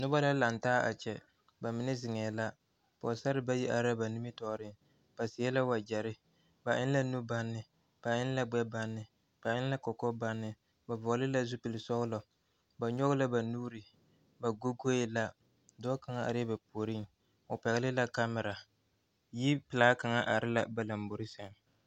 Noba la laŋtaa a kyɛ bamine ziŋɛɛ la pɔgesare bayi are la ba nimitɔɔriŋ ba seɛ la wagyɛre ba eŋ la nubaŋne ba eŋ la gbɛbaŋne ba eŋ lakɔkɔbaŋne ba vɔgle la zupile sɔglɔ ba nyɔge la ba nuuri ba goee ladɔɔ kaŋ are la ba puoriŋ o pɛgle la kamira yipilaa kaŋ are labalamboe sɛŋ.